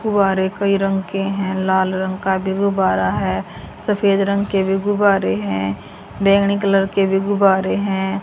गुब्बारे कई रंग के हैं लाल रंग का भी गुब्बारा है सफेद रंग के भी गुब्बारे हैं बैंगनी कलर के भी गुब्बारे हैं।